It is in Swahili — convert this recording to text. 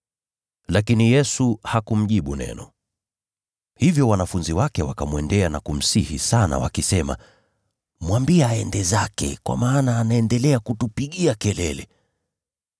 Lakini Yesu hakumjibu neno. Hivyo wanafunzi wake wakamwendea na kumsihi sana, wakisema, “Mwambie aende zake, kwa maana anaendelea kutupigia kelele.”